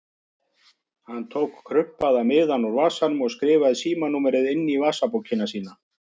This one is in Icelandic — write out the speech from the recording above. Hann tók krumpaða miðann úr vasanum og skrifaði síma- númerið inn í vasabókina sína.